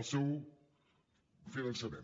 el seu finançament